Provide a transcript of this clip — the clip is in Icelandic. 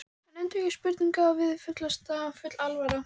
Hann endurtekur spurninguna og virðist full alvara.